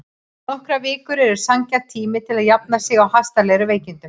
Nokkrar vikur eru sanngjarn tími til að jafna sig á hastarlegum veikindum.